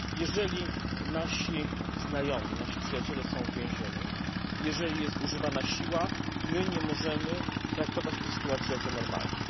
Jeżeli nasi znajomi, nasi przyjaciele są w wiezieniu, jeżeli jest używana siła, my nie możemy traktować tej sytuacji jako normalnej.